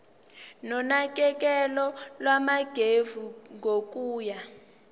nonakekelo lwangemuva kokuya